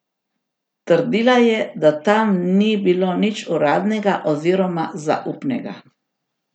Trdila je, da tam ni bilo nič uradnega oziroma zaupnega.